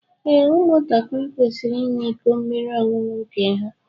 Ee, ụmụ ntakịrị kwesịrị ịnwe ịkọ mmiri ọṅụṅụ nke ha.